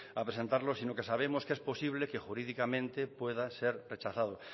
a presentarlo sino que sabemos que es posible que jurídicamente pueda ser rechazado